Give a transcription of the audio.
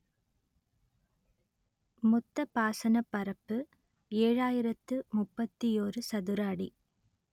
மொத்த பாசனப் பரப்பு ஏழாயிரத்து முப்பத்தியோரு சதுர அடி